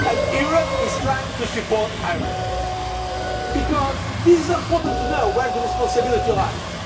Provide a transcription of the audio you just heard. Europe is trying to support Ireland because it is important to know where the responsibility lies.